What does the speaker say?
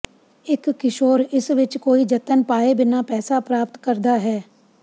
ਇੱਕ ਕਿਸ਼ੋਰ ਇਸ ਵਿੱਚ ਕੋਈ ਜਤਨ ਪਾਏ ਬਿਨਾਂ ਪੈਸਾ ਪ੍ਰਾਪਤ ਕਰਦਾ ਹੈ